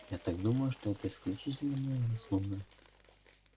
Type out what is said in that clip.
я так думаю что это исключительно моя заслуга